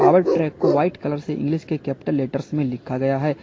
Power track को white colour से English के कैपिटल लेटर्स में लिखा गया है।